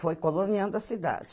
Foi coloniando a cidade.